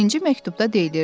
Birinci məktubda deyilirdi: